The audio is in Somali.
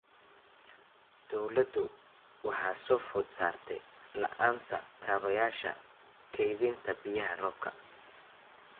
Dawladdu waxa soo food saartay la�aanta kaabayaasha kaydinta biyaha roobka.